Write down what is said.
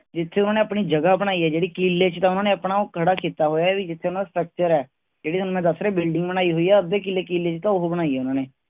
ਜਿਥੇ ਉਹਨਾਂ ਨੇ ਆਪਣੀ ਜਗਾਹ ਬਣਾਈ ਹੈ ਜਿਹੜੀ। ਕਿਲੇ ਚ ਤਾਂ ਉਨ੍ਹਾਂਨੇ ਆਪਣਾ ਉਹ ਖੜਾ ਕੀਤਾ ਹੋਇਆ ਹੈ ਵੀ ਜਿਥੇ ਉਹਨਾਂ ਦਾ structure ਹੈ. ਜਿਹੜੀ ਥੋਨੂੰ ਮੈਂ ਦਸ ਰਿਹਾਂ building ਬਣਾਈ ਹੋਇ ਹੈ. ਅੱਧੇ ਕਿਲੇ ਕਿੱਲੇ ਚ ਤਾਂ ਉਹ ਬਣਾਈ ਹੈ ਉਨ੍ਹਾਂਨੇ